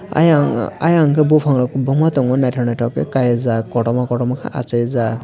ayan o ayang ke bopang rok kobangma tongo naitok naitok kei kaijak kortorma kotorma ke aasai jak.